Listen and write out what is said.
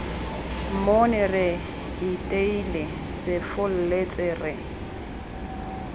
mmone re iteile sefolletse re